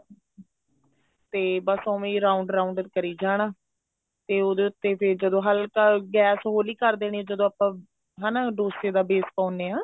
ਤੇ ਬੱਸ ਉਵੇਂ ਹੀ round round ਕਰੀ ਜਾਣਾ ਤੇ ਉਹਦੇ ਉੱਤੇ ਫ਼ੇਰ ਜਦੋਂ ਹਲਕਾ ਗੈਸ ਹੋਲੀ ਕਰ ਦੇਣੀ ਜਦੋਂ ਆਪਾ ਹਨਾ ਡੋਸੇ ਦਾ base ਪਾਉਣੇ ਹਾਂ